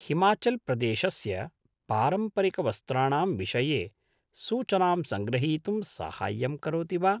हिमाचल्प्रदेशस्य पारम्परिकवस्त्राणां विषये सूचनां सङ्ग्रहीतुं साहाय्यं करोति वा?